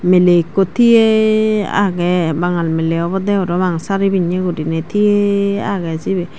melay ekkho tiyey agey bangal miley obode parapang sari pinney guri tigey agey sibey.